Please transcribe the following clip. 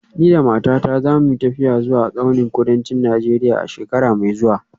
Ni da matata za mu yi tafiya zuwa tsaunin kudancin Najeriya a shekara mai zuwa